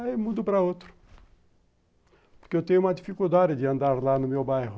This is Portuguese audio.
Aí mudo para outro, porque eu tenho uma dificuldade de andar lá no meu bairro.